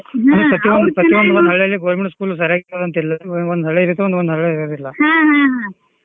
ಅಂದ್ರ ಪ್ರತಿಯೊಂದ government school ಸರಿಯಾಗಿ ಒಳ್ಳೆದಿರುತ್ ರಿ ಒಂದ್ ಹಳೇದೈತಿ ಒಂದೊಂದ್ ಒಳ್ಳೆದಿರೋಲ್ಲ .